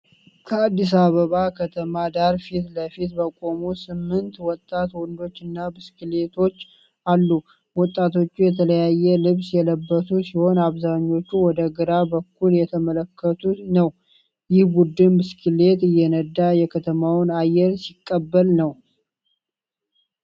ከአዲስ ከተማ ዳራ ፊት ለፊት በቆሙ ስምንት ወጣት ወንዶች እና ብስክሌቶች አሉ። ወጣቶቹ የተለያየ ልብስ የለበሱ ሲሆን፣ አብዛኞቹ ወደ ግራ በኩል እየተመለከቱ ነው፤ ይህ ቡድን ብስክሌት እየነዳ የከተማውን አየር ሲቀበል ነው?